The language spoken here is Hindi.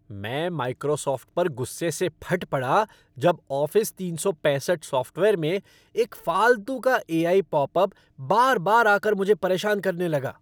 मैं माइक्रोसॉफ़्ट पर गुस्से से फट पड़ा जब ऑफ़िस तीन सौ पैंसठ सॉफ़्टवेयर में एक फालतू का ए आई पॉपअप बार बार आ कर मुझे परेशान करने लगा।